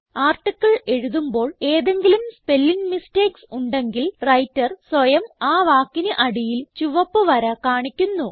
article എഴുതുമ്പോൾ ഏതെങ്കിലും spelling mistakes ഉണ്ടെങ്കിൽ വ്രൈട്ടർ സ്വയം ആ വാക്കിന് അടിയിൽ ചുവപ്പ് വര കാണിക്കുന്നു